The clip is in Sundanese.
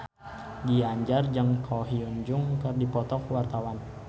Ginanjar jeung Ko Hyun Jung keur dipoto ku wartawan